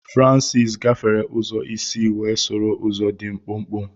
Francis gafere ụzọ isi wee soro ụzọ dị mkpụmkpụ.